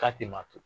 K'a tɛ ma to